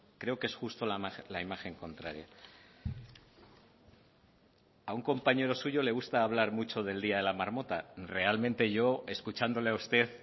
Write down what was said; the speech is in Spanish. creo que es justo la imagen contraria a un compañero suyo le gusta hablar mucho del día de la marmota realmente yo escuchándole a usted